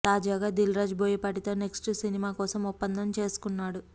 తాజాగా దిల్ రాజు బోయపాటితో నెక్స్ట్ సినిమా కోసం ఒప్పందం చేసుకున్నాడు